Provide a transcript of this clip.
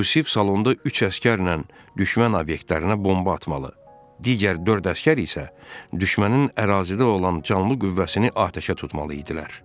Yusif salonda üç əsgərlə düşmən obyektlərinə bomba atmalı, digər dörd əsgər isə düşmənin ərazidə olan canlı qüvvəsini atəşə tutmalı idilər.